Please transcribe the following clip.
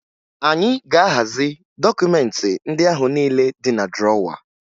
Anyị ga-ahazi dọkụmentị ndị ahụ niile dị na drọwa